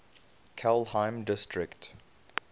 kelheim district